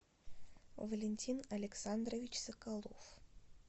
валентин александрович соколов